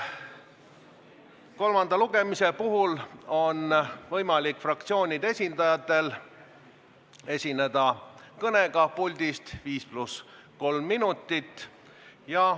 Kolmanda lugemise puhul on võimalik fraktsioonide esindajatel esineda kõnega puldist 5 + 3 minutit.